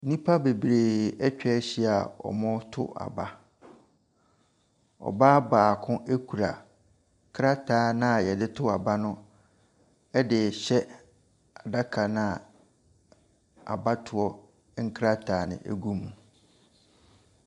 Nnipa bebree ɛtwahyia ɔretɔ aba. Ɔbaa baako ekura krataa na yɛdeto aba no ɛdehyɛ adaka naa abatoɔ nkrataa no egu mu no.